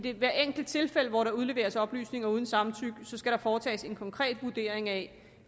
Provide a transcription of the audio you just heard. i hvert enkelt tilfælde hvor der udleveres oplysninger uden samtykke skal foretages en konkret vurdering af